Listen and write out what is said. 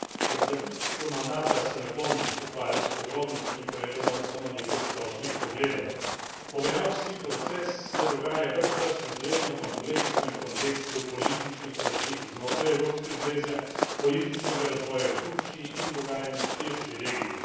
Ob zaključku mandata se ne bom ukvarjal s podrobnostmi, povedal bo samo nekaj splošnejših pogledov. Pogajalski proces se dogaja ves čas v izredno kompleksnem kontekstu političnih razlik znotraj Evropske zveze, političnega razvoja v Turčiji in dogajanja v širši regiji.